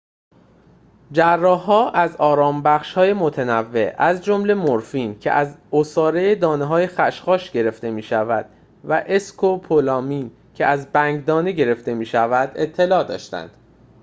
جراح‌ها از آرام‌بخش‌های متنوع از جمله مرفین که از عصاره دانه‌های خشخاش گرفته می‌شود و اسکوپولامین که از بنگ‌دانه گرفته می‌شود اطلاع داشتند